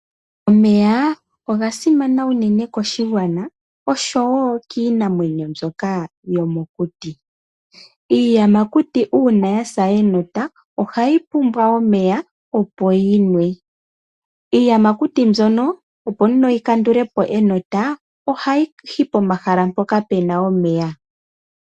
Omeya oga simana unene koshigwana oshowo kiinamwenyo mbyoka yomokuti. Uuna iiyamakuti ya sa enota ohayi pumbwa omeya, opo yi nwe. Iiyamakuti mbyono opo yi kandule po enota ohayi yi pomahala mpoka pu na omeya.